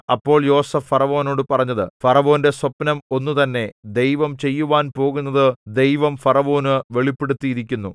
അപ്പോൾ യോസേഫ് ഫറവോനോട് പറഞ്ഞത് ഫറവോന്റെ സ്വപ്നം ഒന്നുതന്നെ ദൈവം ചെയ്യുവാൻ പോകുന്നത് ദൈവം ഫറവോനു വെളിപ്പെടുത്തിയിരിക്കുന്നു